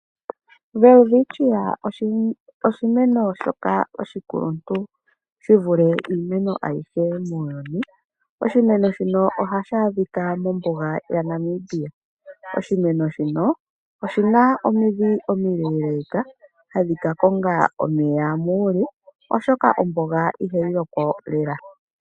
Welwitchia oshimeno shoka oshikuluntu shi vule iimeno ayihe muuyuni, oshimeno shika ohashi adhikwa mombuga yaNamibia, oshimeno shika oshina omidhi omileeleka hadhi ka konga omeya muule, oshoka ombuga ihayi lokwa lela.